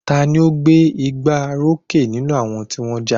Ta ni ó gbé igbá orókè nínú àwọn tí wọ́n ja?